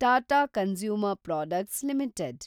Tata consumer products limited